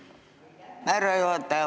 Aitäh, härra juhataja!